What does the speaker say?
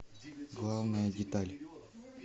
главная деталь